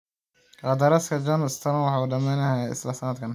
Qandaraaska John Stones wuxuu dhamaanayaa isla sanadkaas.